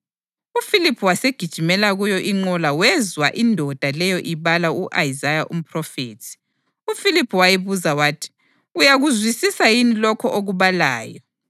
UFiliphu wasegijimela kuyo inqola wezwa indoda leyo ibala u-Isaya umphrofethi. UFiliphu wayibuza wathi, “Uyakuzwisisa yini lokho okubalayo?”